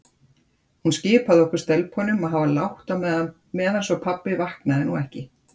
Hún skipaði okkur stelpunum að hafa lágt á meðan svo pabbi vaknaði nú ekki.